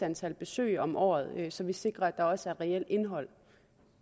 antal besøg om året så vi sikrer at der også er reelt indhold